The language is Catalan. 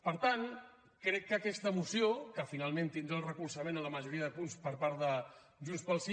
per tant crec que aquesta moció que finalment tindrà el recolzament a la majoria de punts per part de junts pel sí